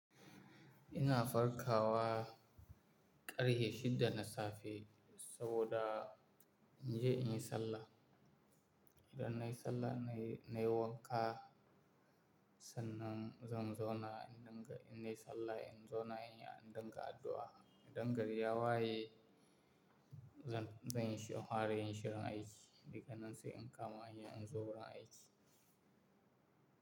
Ina farkawa ƙarhe shida na safe saboda in je in yi sallah. Idan nayi sallah nayi, nayi wanka, sannan zan zauna in dinga, in nayi sallah, in zauna in dinga addu'a. Idan gari ya waye, zan, zan yi shi in fara yin shirin aiki. Daga nan sai in kama hanya in zo wurin aiki.